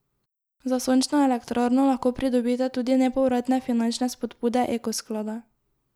Za sončno elektrarno lahko pridobite tudi nepovratne finančne spodbude Eko sklada.